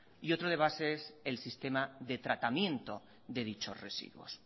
y otro debate es el sistema de tratamiento de dichos residuos